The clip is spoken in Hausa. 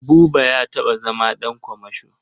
Buba ya taɓa zama ɗan kamasho.